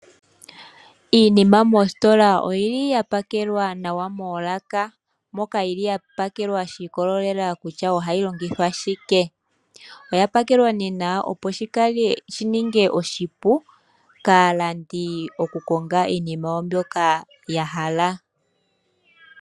Iinima moostola oyila ya pa kelwa nawa moolaka. Moka yili ya pakelwa sha ikololela kutya ohayi longithwa shike. Oya pakelwa nee nawa opo shininge oshipu kaalandi oku konga iinima mbyoka ya hala.